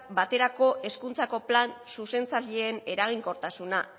baterako hezkuntzako plan zuzentzaileen eraginkortasuna